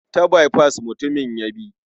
Ta baifas mutumin ya bi.